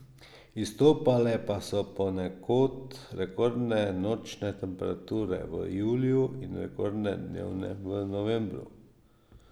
Izstopale pa so ponekod rekordne nočne temperature v juliju in rekordne dnevne v novembru.